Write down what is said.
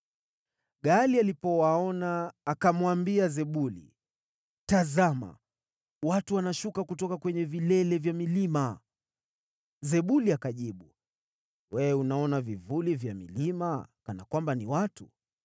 Gaali alipowaona, akamwambia Zebuli, “Tazama, watu wanashuka kutoka kwenye vilele vya milima!” Zebuli akajibu, “Wewe unaona vivuli vya milima kana kwamba ni watu.”